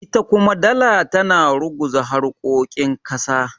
ita kuma dala tana ruguza harkokin kasa